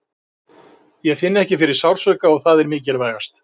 Ég finn ekki fyrir sársauka og það er mikilvægast.